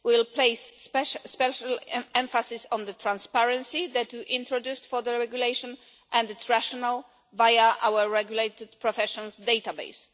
We will place special emphasis on the transparency that you introduced for the regulation and its rationale via our regulated professions database.